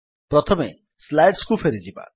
ପ୍ରଥମେ ସ୍ଲାଇଡ୍ସ କୁ ଫେରିଯିବା